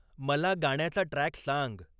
मला गाण्याचा ट्रॅक सांग.